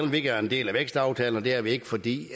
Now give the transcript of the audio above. vi ikke er en del af vækstaftalen og det er vi ikke fordi